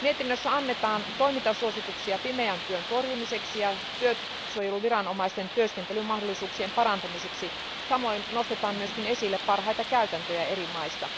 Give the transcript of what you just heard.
Mietinnössä annetaan toimintasuosituksia pimeän työn torjumiseksi ja työsuojeluviranomaisten työskentelymahdollisuuksien parantamiseksi, samoin nostetaan myös esille parhaita käytäntöjä eri maista.